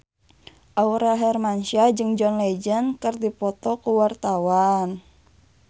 Aurel Hermansyah jeung John Legend keur dipoto ku wartawan